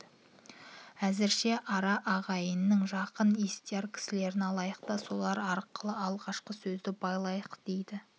әзірше ара ағайынның жақын естияр кісілерін алайық та солар арқылы алғашқы сөзді байлайық деді